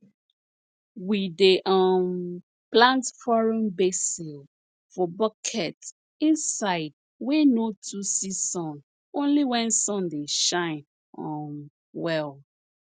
we dey um plant foreign basil for bucket inside wey no too see sun only when sun dey shine um well